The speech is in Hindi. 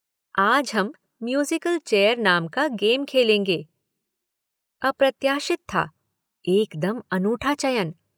आज हम म्यूज़िकल चेयर नाम का गेम खेलेंगे। अप्रत्याशित था। एक दम अनूठा चयन।